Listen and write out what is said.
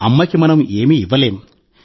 అమ్మకి మనం ఏమీ ఇవ్వలేం